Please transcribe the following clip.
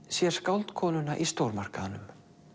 sér skáldkonuna í stórmarkaðnum